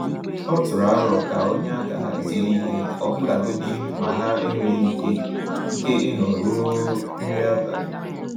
Ọ tụrụ aro ka o nye aka hazie ihe, ọbụlagodi ma ha enweghị ike ike ịnọ ruo nri abalị.